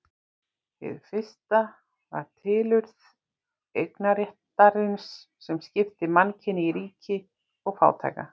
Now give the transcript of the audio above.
Hið fyrsta var tilurð eignarréttarins sem skipti mannkyni í ríka og fátæka.